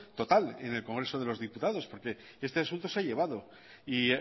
total en el congreso de los diputados porque este asunto se ha llevado y